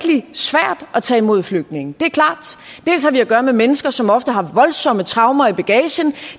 og tage imod flygtninge det er klart at gøre med mennesker som ofte har voldsomme traumer i bagagen